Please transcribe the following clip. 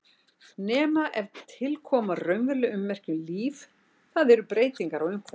Nema ef til koma raunveruleg ummerki um líf, það er breytingar á umhverfi.